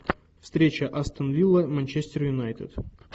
встреча астон вилла манчестер юнайтед